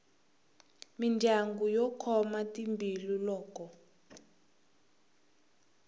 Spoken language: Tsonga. mindyangu yo khoma timbilu loko